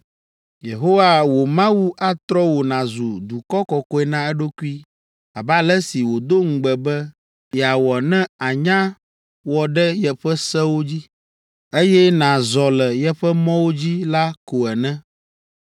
“Yehowa wò Mawu atrɔ wò nàzu dukɔ kɔkɔe na eɖokui abe ale si wòdo ŋugbe be yeawɔ ne ànya wɔ ɖe yeƒe sewo dzi, eye nàzɔ le yeƒe mɔwo dzi la ko ene.